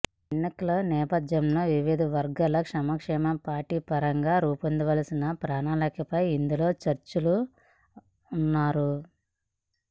ఎన్నికల నేపథ్యంలో వివిధ వర్గాల సంక్షేమానికి పార్టీ పరంగా రూపొందించాల్సిన ప్రణాళికపై ఇందులో చర్చించనున్నారు